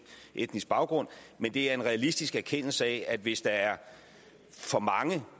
etnisk baggrund men det er en realistisk erkendelse af at hvis der er for mange